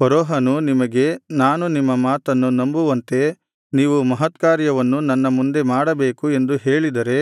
ಫರೋಹನು ನಿಮಗೆ ನಾನು ನಿಮ್ಮ ಮಾತನ್ನು ನಂಬುವಂತೆ ನೀವು ಮಹತ್ಕಾರ್ಯವನ್ನು ನನ್ನ ಮುಂದೆ ಮಾಡಬೇಕು ಎಂದು ಹೇಳಿದರೆ